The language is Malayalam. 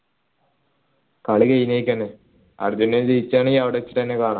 കളി അർജൻറീന ജയിക്കാണെങ്കിൽ അവിടെ വച്ചിട്ട്ന്നെ കാണാ